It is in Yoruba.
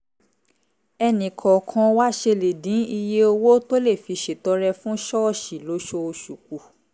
ẹnì kọ̀ọ̀kan wa ṣe lè dín iye owó tó lè fi ṣètọrẹ fún ṣọ́ọ̀ṣì lóṣooṣù kù